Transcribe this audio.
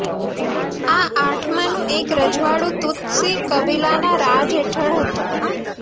આ આઠમાંનું એક રજવાડું તુત્સી કબીલાના રાજ હેઠળ હતું